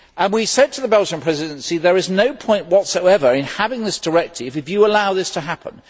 We said to the Belgian Presidency that there is no point whatsoever in having this directive if you allow this to happen.